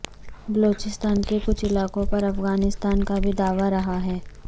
بلوچستان کے کچھ علاقوں پر افغانستان کا بھی دعوی رہا ہے